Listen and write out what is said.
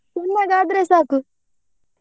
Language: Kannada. ಚನ್ನಾಗೆ ಆದ್ರೆ ಸಾಕು.